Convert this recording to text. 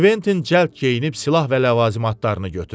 Kventin cəld geyinib silah və ləvazimatlarını götürdü.